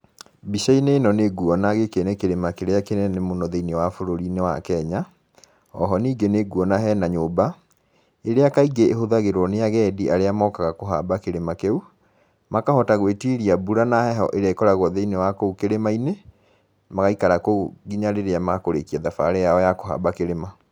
Mbica-inĩ ĩno nĩ nguona gĩkĩ nĩ kĩrĩma kĩrĩa kĩnene mũno thĩinĩ wa bũrũri-inĩ wa Kenya, oho nĩngĩ nĩ nguona hena nyũmba, ĩrĩa kaingĩ ĩhũthagĩrwo nĩ agendi arĩa mokaga kũhamba kĩrĩma kĩu, makahota gwĩtiria mbura na heho ĩrĩa ĩkoragwo thĩinĩ wa kũu kĩrĩma-inĩ, magaikara kũu nginya rĩrĩa makũrĩkia thabarĩ yao ya kũhamba kĩrĩma.